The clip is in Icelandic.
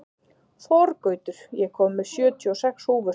Þorgautur, ég kom með sjötíu og sex húfur!